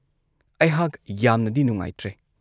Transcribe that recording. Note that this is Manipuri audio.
ꯑꯩꯍꯥꯛ ꯌꯥꯝꯅꯗꯤ ꯅꯨꯡꯉꯥꯏꯇ꯭ꯔꯦ ꯫